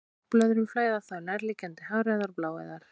Loftbólur úr lungnablöðrum flæða þá í nærliggjandi háræðar og bláæðar.